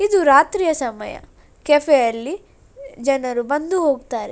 ಇದು ರಾತ್ರಿಯ ಸಮಯ ಕೆಫೆ ಅಲ್ಲಿ ಜನರು ಬಂದು ಹೋಗತ್ತರೆ.